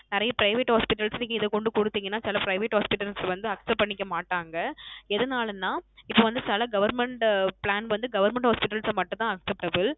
நிறைய private hospital ல இத கொண்டு குடுத்திங்கான குடுத்திங்கனா சில private hospital ல accept பண்ணிக்கமாட்டாங்க எதுனாலனா இப்போ வந்து சில government plan வந்து government hospitals மட்டும் தான் acceptable